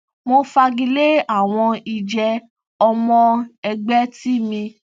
mo fagilé àwọn ìjẹ ọmọ ẹgbẹ tí mi